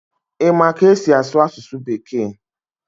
Ị ma ka esi asụ asụsụ bekee?